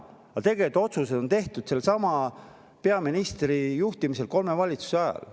Aga tegelikult on kõik need otsused tehtud sellesama peaministri juhtimisel kolme valitsuse ajal.